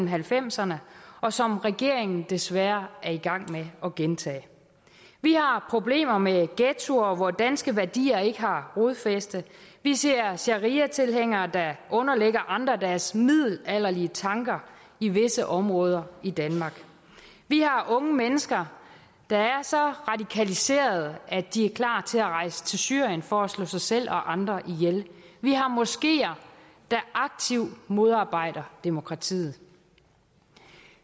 halvfemserne og som regeringen desværre er i gang med at gentage vi har problemer med ghettoer hvor danske værdier ikke har rodfæste vi ser shariatilhængere der underlægger andre deres middelalderlige tanker i visse områder i danmark vi har unge mennesker der er så radikaliserede at de er klar til at rejse til syrien for at slå sig selv og andre ihjel vi har moskeer der aktivt modarbejder demokratiet